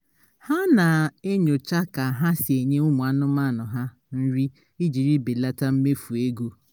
ha na-enyocha ka ha si enye ụmụ anụmanụ ha nri ijiri belata mmefu ego